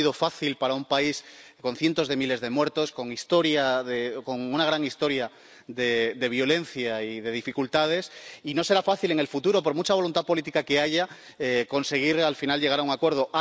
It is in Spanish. No ha sido fácil para un país con cientos de miles de muertos, con una gran historia de violencia y de dificultades, y no será fácil en el futuro, por mucha voluntad política que haya, conseguir al final llegar a un acuerdo.